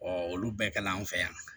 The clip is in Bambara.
Ɔ olu bɛɛ kɛla an fɛ yan